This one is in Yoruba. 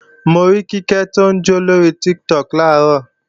Mo rí Kíkẹ́ tí ń jó lórí Tiktok làárọ̀